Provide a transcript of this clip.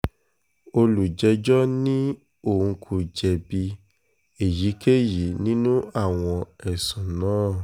olùjẹ́jọ́ ní òun kò jẹ̀bi èyíkéyìí nínú àwọn ẹ̀sùn náà